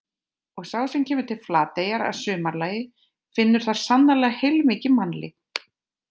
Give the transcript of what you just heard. Og sá sem kemur til Flateyjar að sumarlagi finnur þar sannarlega heilmikið mannlíf.